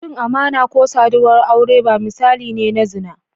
Cin amana ko saduwar aure ba misali ne na zina.